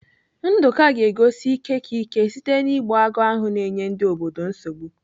Nduka ga-egosi ike ka ike site na-igbu agụ ahụ na-enye ndị obodo nsogbu.